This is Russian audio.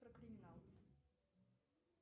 про криминал